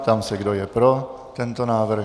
Ptám se, kdo je pro tento návrh.